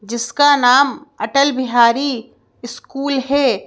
जिसका नाम अटल बिहारी स्कूल है।